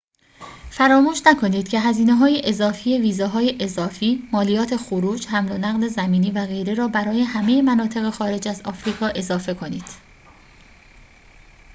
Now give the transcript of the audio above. فراموش نکنید که هزینه‌های اضافی ویزاهای اضافی مالیات خروج حمل و نقل زمینی و غیره را برای همه مناطق خارج از آفریقا اضافه کنید